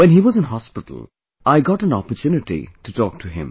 When he was in hospital, I got an opportunity to talk to him